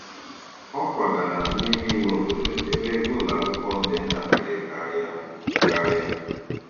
Ọ kwagara n'ime ime obodo ebe ego ụlọ akwụkwọ dị ntakịrị karịa. karịa.